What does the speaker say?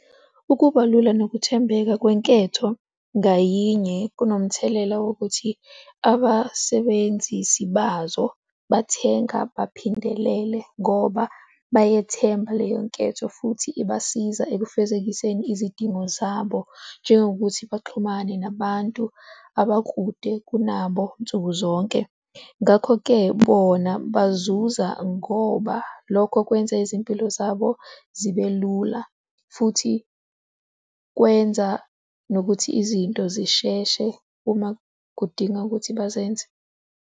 Ukuba lula nokuthembeka kwenketho ngayinye kunomthelela wokuthi abasebenzisi bazo bathenga baphindelele ngoba bayethemba leyo nketho futhi ibasiza ekufezekiseni izidingo zabo njengokuthi baxhumane nabantu abakude kunabo nsuku zonke. Ngakho-ke bona bazuza ngoba lokho kwenza izimpilo zabo zibe lula futhi kwenza nokuthi izinto zisheshe uma kudinga ukuthi bazenze.